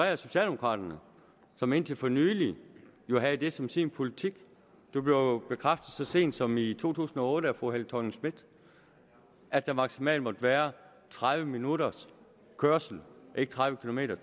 af socialdemokraterne som indtil for nylig havde det som sin politik det blev jo bekræftet så sent som i to tusind og otte af fru helle thorning schmidt at der maksimalt måtte være tredive minutters kørsel ikke tredive kilometer